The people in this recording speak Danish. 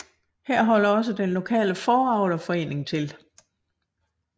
Her holder også den lokale fåreavlerforening til